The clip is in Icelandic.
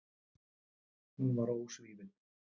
Hún var ósvífin.